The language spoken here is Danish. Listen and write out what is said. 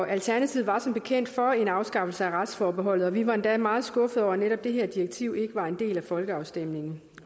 alternativet var som bekendt for en afskaffelse af retsforbeholdet og vi var endda meget skuffede over at netop det her direktiv ikke var en del af folkeafstemningen